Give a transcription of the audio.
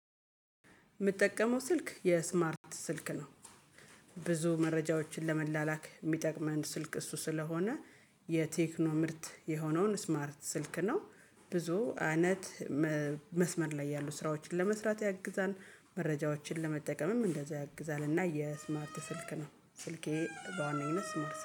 የምጠቀመው ስልክ የስማርት ስልክ ነው። ብዙ መረጃዎችን ለመላላክ የሚጠቅመን ስልክ እሱ ስለሆነ የቴክኖ ምርት የሆነውን ስማርት ስልክ ነው። ብዙ አይነት መስመር ላይ ያሉ ስራዎችን ለመስራት ያግዛል መረጃዎችን ለመጠቀምም እንደዛ ያግዛል። እና የስማርት ስልክ ነው ስልኬ በዋናነት ስማርት